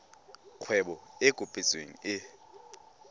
kgwebo e e kopetsweng e